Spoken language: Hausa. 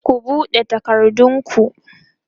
ku buɗe takardun ku!